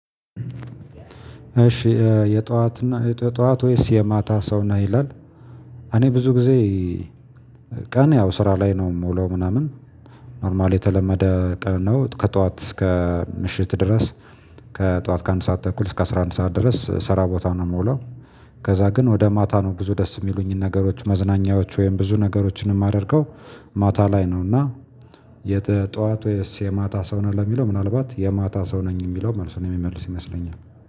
እሺ የጠዋት ነህ የጠዋት ወይስ የማታ ሰው ነህ? ይላል እኔ ብዙ ጊዜ ቀን ያው ስራ ላይ ነው የምውለው ምናምን ኖርማል የተለመደ ቀን ነው። ከጠዋት እስከ ምሽት ድረስ ከጧት ከአንድ ሰዓት ተኩል እስከ አስራ አንድ ሰዓት ድረስ ሰራ ቦታ ነው የምውለ። ከዛ ግን ወደ ማታ ነው ብዙ ደስ የሚሉኝን ነገሮች መዝናኛዎች ወይም ብዙ ነገሮችንም አድርገው ማታ ላይ ነው። እና የጠዋት ወይስ የማታ ሰው ነን ለሚለው ምናልባት የማታ ሰው ነኝ የሚለው። መልሱን የሚመልስ ይመስለኛል።